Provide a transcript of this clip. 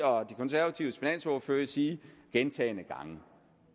og de konservatives finansordfører sige gentagne gange